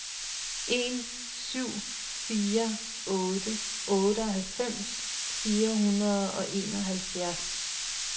en syv fire otte otteoghalvfems fire hundrede og enoghalvfjerds